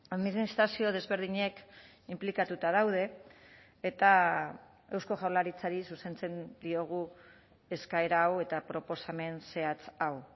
administrazio desberdinek inplikatuta daude eta eusko jaurlaritzari zuzentzen diogu eskaera hau eta proposamen zehatz hau